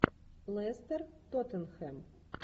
лестер тоттенхэм